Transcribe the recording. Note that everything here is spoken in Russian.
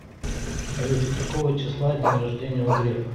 салют какого числа день рождения у грефа